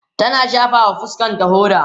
tana shafawa fuskanta hoda